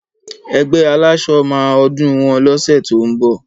Ẹgbẹ́ aláṣọ máa ọdún wọn lóṣẹ̀ tó ń bọ̀.